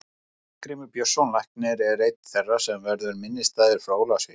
Arngrímur Björnsson læknir er einn þeirra sem verður minnisstæður frá Ólafsvík.